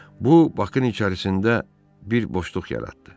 Bu, Bakın içərisində bir boşluq yaratdı.